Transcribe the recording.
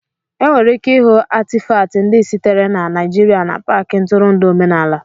Enwere ike ịhụ Atịfatị ndị sitere na Naijiria n'Paakị ntụrụndụ omenala